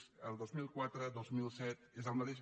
és el dos mil quatre dos mil set és el mateix